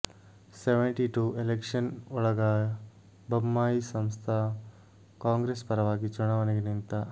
seventy two election ಒಳಾಗ Bommai Samstha Congress ಪರವಾಗಿ ಚುನಾವಣೆಗೆ ನಿಂತ